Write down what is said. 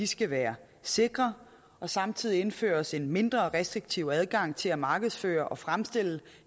skal være sikre og samtidig indføres en mindre restriktiv adgang til at markedsføre og fremstille